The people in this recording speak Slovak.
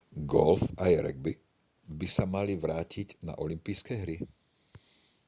golf aj ragby by sa mali vrátiť na olympijské hry